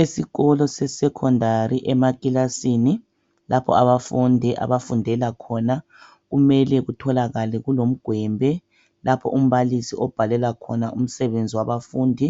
Esikolo sesecondary emclassini lapho abafundi abafundela khona kumele kutholakale kumgwembe lapho umbalisi abhalela khona umsebenzi wabafundi